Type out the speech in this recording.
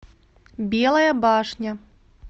белая башня